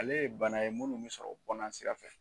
Ale ye bana ye munnu bɛ sɔrɔ kɔnansira fɛ.